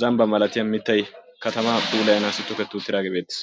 zambba malatiya mittay katama puulayanayo toheti uttiis.